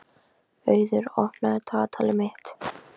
Auður, opnaðu dagatalið mitt.